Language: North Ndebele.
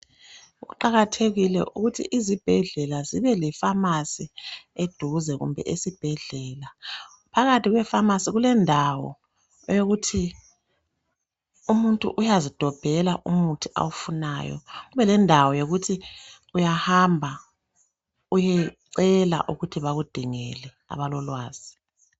Kuqakathekile ukuthi izibheldlela zibe le pharmacy eduze kumbe esibhedlela. Phakathi kwe pharmacy kulendawo eyokuthi umuntu uyazidobhela umuthi awufunayo kube lendawo yokuthi uyahamba uyecela ukuthi bakudingele abalolwazi